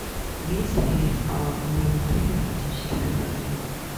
имеются ли в моем отеле романтические предложения